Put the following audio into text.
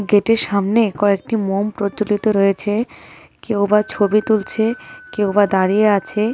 গেটের সামনে কয়েকটি মোম প্রজ্জ্বলিত রয়েছে কেউবা ছবি তুলছে কেউবা দাঁড়িয়ে আছে.